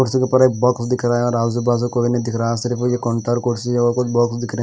कुर्सी के ऊपर एक बॉक्स दिख रहा है और कोई नहीं दिख रहा है सिर्फ ये काउंटर कुर्सी बॉक्स दिख रहे।